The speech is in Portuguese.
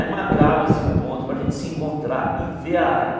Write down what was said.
Aí marcava-se um ponto para a gente se encontrar e ver a área.